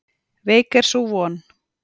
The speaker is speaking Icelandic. Veik er sú von.